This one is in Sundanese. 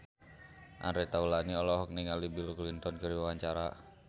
Andre Taulany olohok ningali Bill Clinton keur diwawancara